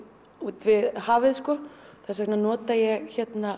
við hafið þess vegna nota ég